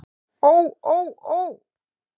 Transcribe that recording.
Ó ó ó.